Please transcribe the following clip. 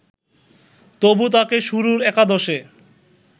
তবু তাকে শুরুর একাদশে